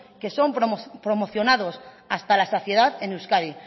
que son promocionados hasta la saciedad en euskadi